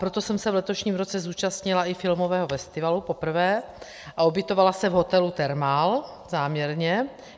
Proto jsem se v letošním roce zúčastnila i filmového festivalu, poprvé, a ubytovala se v hotelu Thermal, záměrně.